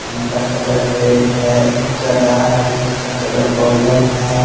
इनका colour red हैएक गदा है जिसका कलर गोल्डन है।